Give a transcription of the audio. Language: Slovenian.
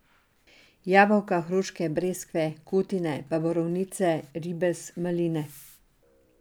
Jabolka, hruške, breskve, kutine, pa borovnice, ribez, maline.